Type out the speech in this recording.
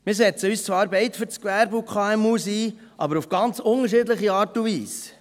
Wir setzen uns zwar beide für das Gewerbe und KMU ein, aber auf ganz unterschiedliche Art und Weise.